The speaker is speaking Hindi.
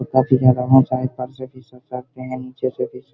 ऊपर से यहाँ रहना चाहे निचे से भी --